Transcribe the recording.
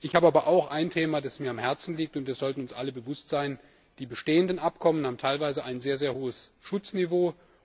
Ich habe aber auch ein Thema, das mir am Herzen liegt, und wir sollten uns alle dessen bewusst sein Die bestehenden Abkommen haben teilweise ein sehr hohes Schutzniveau.